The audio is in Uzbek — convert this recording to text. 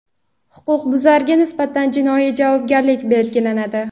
huquqbuzarga nisbatan jinoiy javobgarlik belgilanadi.